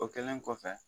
O kɛlen kɔfɛ